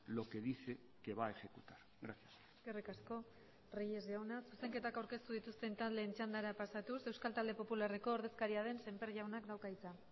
lo que dice que va a ejecutar gracias eskerrik asko reyes jauna zuzenketak aurkeztu dituzten taldeen txandara pasatuz euskal talde popularreko ordezkaria den semper jaunak dauka hitza